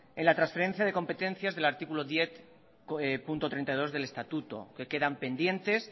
en la transferencia de competencias del artículo diez punto treinta y dos del estatuto que quedan pendientes